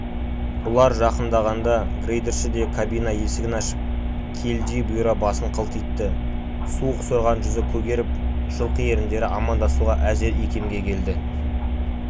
бұлар жақындағанда грейдерші де кабина есігін ашып келідей бұйра басын қылтитты суық сорған жүзі көгеріп жылқы еріндері амандасуға әзер икемге келді